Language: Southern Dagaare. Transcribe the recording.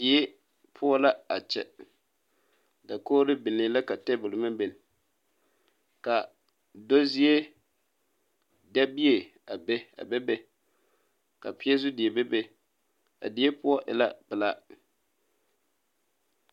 Die poɔ la a kyɛ dakogro biŋee la ka table meŋ biŋ ka do zie dabie a be be be ka peɛzu die bebe a die poɔ e la pelaa .